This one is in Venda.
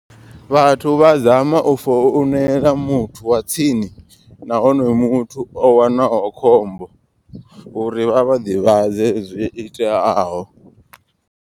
Vhathu vha zama u founela muthu wa tsini. Na honoyo muthu o wanaho khombo uri vha vha ḓivhadze zwo iteaho.